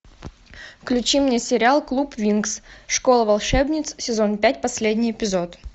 включи мне сериал клуб винкс школа волшебниц сезон пять последний эпизод